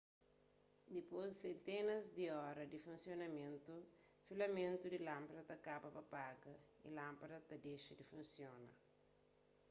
dipôs di sentenas di óra di funsionamentu filamentu di lánpada ta kaba pa paga y lánpada ta dexa di funsiona